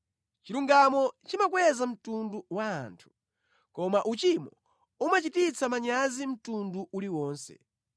Chilungamo chimakweza mtundu wa anthu, koma uchimo umachititsa manyazi mtundu uliwonse.